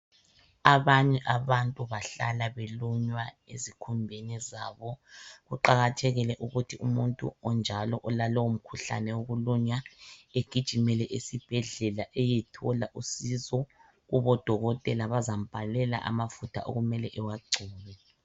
Abanye abantu bahlala belunywa ezikhumbeni zabo kuqakathekile ukuthi umuntu onjalo olalowo mkhuhlane wokulunywa egijimele esibhedlela eyethola usizo kubo dokotela bazambhalela amafutha okumele awagcine.